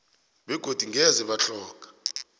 begodu ngeze batlhoga